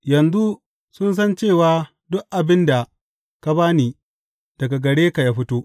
Yanzu sun san cewa duk abin da ka ba ni daga gare ka ya fito.